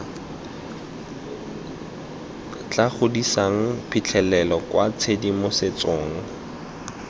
tla godisang phitlhelelo kwa tshedimosetsong